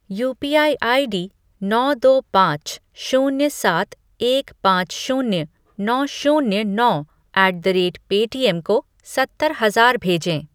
UPI ID नौ दो पाँच शून्य सात एक पाँच शून्य नौ शून्य नौ ऐट द रेट पेटीएम को सत्तर हजार भेजें ।